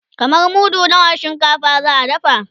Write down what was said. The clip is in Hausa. kaman mudu nawa na shinkafa za'a dafa?